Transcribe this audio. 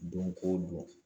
Donko don